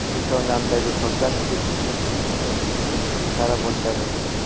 Peshonamdagi sochlar keskin qisqara boshladi.